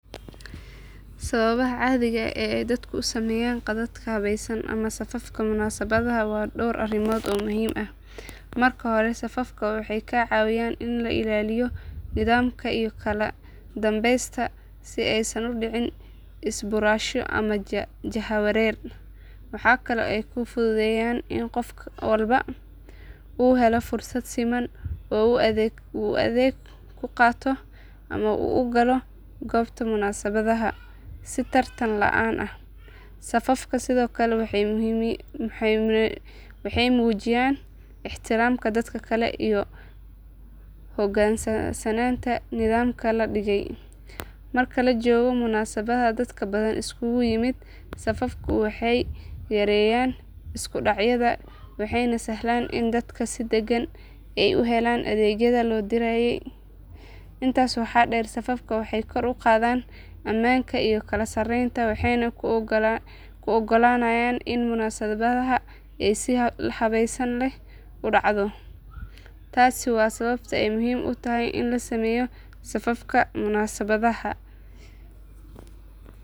Sababaha caadiga ah ee dadku u sameeyaan khadadka habaysan ama safafka munaasabadaha waa dhowr arrimood oo muhiim ah. Marka hore safafku waxay kaa caawinayaan in la ilaaliyo nidaamka iyo kala dambaynta si aysan u dhicin isbuurasho ama jahawareer. Waxaa kale oo ay fududeeyaan in qof walba uu helo fursad siman oo uu adeeg ku qaato ama uu u galo goobta munaasabadda si tartan la aan ah. Safafku sidoo kale waxay muujinayaan ixtiraamka dadka kale iyo u hoggaansanaanta nidaamka la dhigay. Marka la joogo munaasabad dad badan isugu yimid safafku waxay yareeyaan isku dhacyada waxayna sahlaan in dadka si degan ay u helaan adeegyada loo diyaariyey. Intaas waxaa dheer safafku waxay kor u qaadaan ammaanka iyo kala sarreynta waxayna kuu oggolaanayaan in munaasabadda ay si habsami leh ku dhacdo. Taasi waa sababta ay muhiim u tahay in la sameeyo safaf munaasabadaha.